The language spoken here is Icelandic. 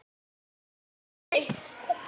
Langar líka að vita.